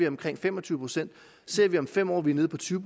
omkring fem og tyve procent ser vi om fem år at vi er nede på tyve